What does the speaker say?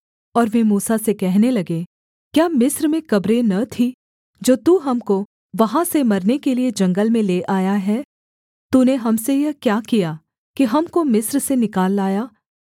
और वे मूसा से कहने लगे क्या मिस्र में कब्रें न थीं जो तू हमको वहाँ से मरने के लिये जंगल में ले आया है तूने हम से यह क्या किया कि हमको मिस्र से निकाल लाया